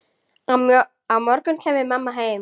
Á morgun kæmi mamma heim.